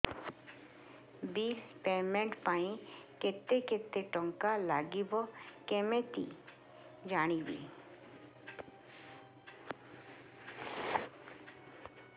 bill payment ପାଇଁ କେତେ କେତେ ଟଙ୍କା ଲାଗିବ କେମିତି ଜାଣିବି